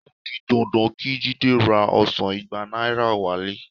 O di dandan kí Jídé ra ọsàn igba náírà wálé